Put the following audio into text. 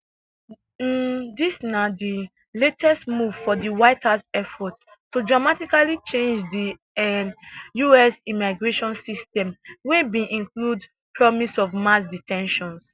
um dis na di latest move for di white house effort to dramatically change di um us immigration system wey bin include promise of mass de ten tions